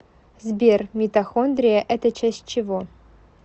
сбер митохондрия это часть чего